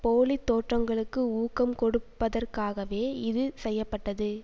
போலி தோற்றங்களுக்கு ஊக்கம் கொடுப்பதற்காகவே இது செய்ய பட்டது